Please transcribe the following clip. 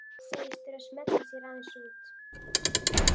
Segist þurfa að smella sér aðeins út.